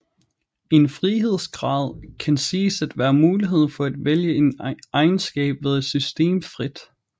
En frihedsgrad kan siges at være muligheden for at vælge en egenskab ved et system frit